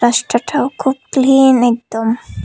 রাস্টাটাও খুব ক্লিন একদম।